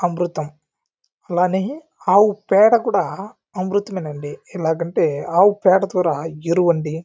అమృతం అలానే ఆవు పేడ కూడా అమృతమే అండి ఎలాగంటే ఆవు పేడ కూడ ఎరువండి.